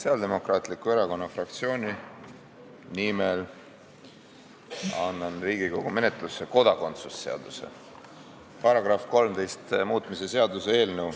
Sotsiaaldemokraatliku Erakonna fraktsiooni nimel annan Riigikogu menetlusse kodakondsuse seaduse § 13 muutmise seaduse eelnõu.